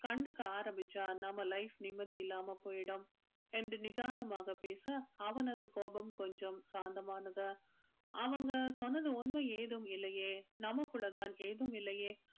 கண்டுக்க ஆரம்பிச்சா நம்ம life நிம்மதி இல்லாம போயிடும் என்று நிதானமாக பேச அவனது கோபம் கொஞ்சம் சாந்தமானது அவங்க சொன்னது உண்மை ஏதும் இல்லையே நமக்குள்ளதான் ஏதும் இல்லையே